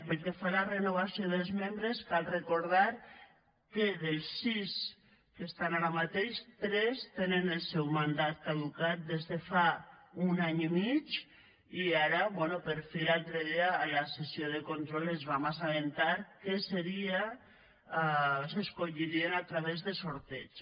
pel que fa a la renovació dels membres cal recordar que dels sis que estan ara mateix tres tenen el seu mandat caducat des de fa un any i mig i ara bé per fi l’altre dia a la sessió de control ens vam assabentar que s’escollirien a través de sorteig